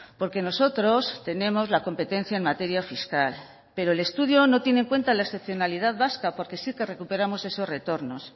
porque nosotros tenemos la competencia en materia fiscal pero el estudio no tiene en cuenta la excepcionalidad vasca porque sí que recuperamos esos retornos